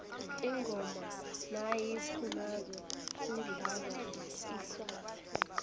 ingoma nayiphumako kudlalwa iswazi